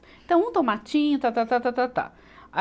Então, um tomatinho, tá, tá, tá, tá, tá, tá. A